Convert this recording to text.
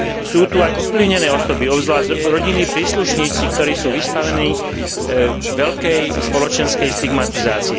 Sú tu aj ovplyvnené osoby, obzvlášť rodinní príslušníci, ktorí sú vystavení veľkej spoločenskej stigmatizácii.